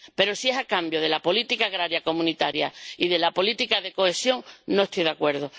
Pero, si es a cambio de la política agraria comunitaria y de la política de cohesión, no estoy de acuerdo.